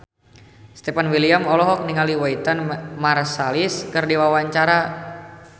Stefan William olohok ningali Wynton Marsalis keur diwawancara